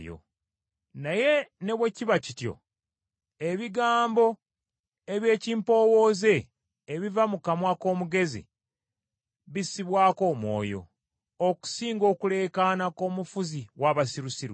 Naye ne bwe kiba kityo, ebigambo eby’ekimpowooze ebiva mu kamwa k’omugezi bissibwako omwoyo, okusinga okuleekaana kw’omufuzi w’abasirusiru.